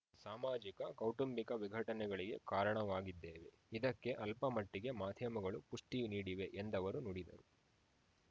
ಸಾಮಾಜಿಕ ಕೌಟುಂಬಿಕ ವಿಘಟನೆಗಳಿಗೆ ಕಾರಣವಾಗಿದ್ದೇವೆ ಇದಕ್ಕೆ ಅಲ್ಪಮಟ್ಟಿಗೆ ಮಾಧ್ಯಮಗಳು ಪುಷ್ಠಿ ನೀಡಿವೆ ಎಂದವರು ನುಡಿ